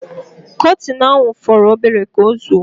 Kọtin ahu foro obere ka ozuo